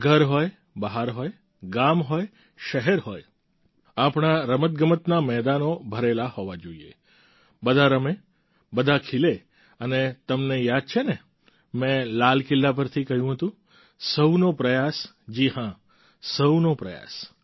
ઘર હોય બહાર હોય ગામ હોય શહેર હોય આપણા રમતગમતના મેદાનો ભરેલા હોવા જોઈએ બધા રમે બધા ખીલે અને તમને યાદ છે ને મેં લાલ કિલ્લા પરથી કહ્યું હતું સહુનો પ્રયાસ જી હાં સહુનો પ્રયાસ